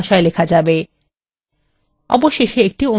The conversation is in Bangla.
অবশেষে একটি অনুশীলনী রয়েছে